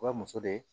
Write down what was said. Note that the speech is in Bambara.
Wa muso de ye